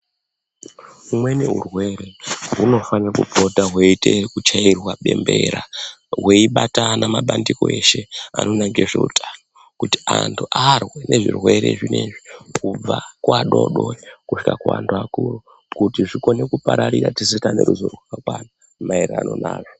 Umweni urwere unofanirwa kupota hwechiita kuchairwa bembera hweibatana mabandiko eshe anoona nezve utano kuti antu arwe nezvirwere zvinezvi kubva kuadoodori kusvika kuantu akuru kuti zvikone kupararira tese taane ruzivo rwakakwana maererano nazvo.